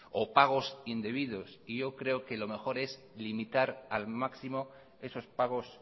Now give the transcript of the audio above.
o pagos indebidos y yo creo que lo mejor es limitar al máximo esos pagos